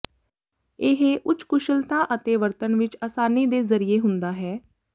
ਇਹ ਉੱਚ ਕੁਸ਼ਲਤਾ ਅਤੇ ਵਰਤਣ ਵਿੱਚ ਆਸਾਨੀ ਦੇ ਜ਼ਰੀਏ ਹੁੰਦਾ ਹੈ